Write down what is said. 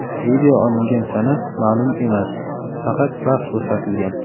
Video olingan sana ma’lum emas, faqat vaqt ko‘rsatilgan.